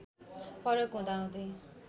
फरक हुँदा हुँदै